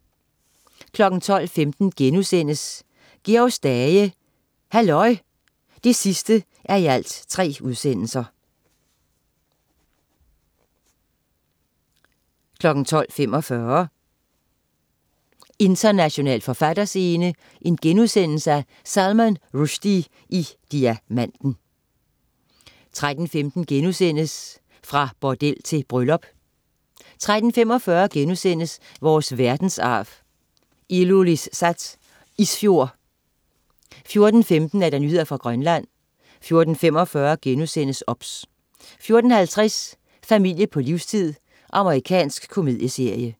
12.15 Georg Stage, halløj! 3:3* 12.45 International forfatterscene: Salman Rushdie i Diamanten* 13.15 Fra bordel til bryllup* 13.45 Vores verdensarv: Ilulissat Isfjord* 14.15 Nyheder fra Grønland 14.45 OBS* 14.50 Familie på livstid. Amerikansk komedieserie